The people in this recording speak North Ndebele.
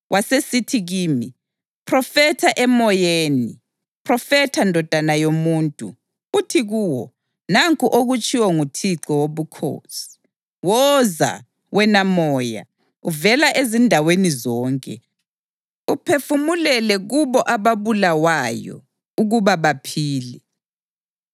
Wasesithi kimi, “Phrofetha emoyeni, phrofetha, ndodana yomuntu, uthi kuwo, ‘Nanku okutshiwo nguThixo Wobukhosi: Woza, wena moya, uvela ezindaweni zonke, uphefumulele kubo ababulawayo, ukuba baphile.’ ”